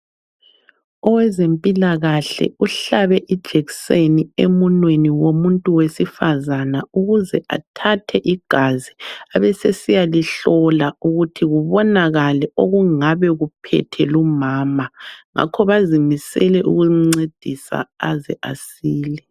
Owezempilakahle uhlabe ijekiseni emunweni womuntu wesifazana ukuze athathe igazi abesesiyalihlola ukuthi kubonakale okungabe kuphethe lumama. Ngakho bazimisele ukumncedisa aze asile.